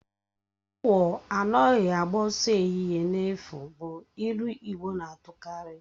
Awu anaghị agba ọsọ n'ehihie n'efu bụ ilu igbo na-atukarị